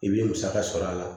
I bɛ musaka sɔrɔ a la